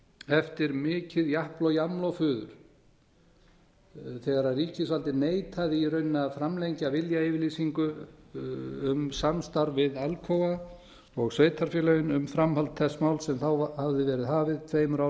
eftir mikið japl og jaml og fuður þegar ríkisvaldið neitaði í rauninni að framlengja viljayfirlýsingu um samstarf við alcoa og sveitarfélögin um framhald þess máls sem þá hafði verið hafið tveimur árum